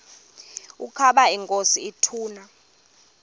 ukaba inkosi ituna